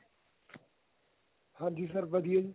ਹਾਂਜੀ sir ਵਧੀਆ ਜੀ